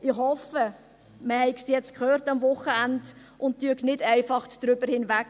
Ich hoffe, man hat es jetzt am Wochenende gehört und schaut nun nicht einfach darüber hinweg.